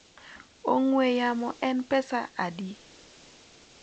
ongwe yamo en pesadi?